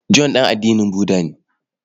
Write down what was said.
John ɗan addinin Budda ne.